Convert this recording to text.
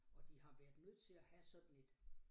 Og de har været nødt til at have sådan et